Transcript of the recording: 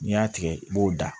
N'i y'a tigɛ i b'o da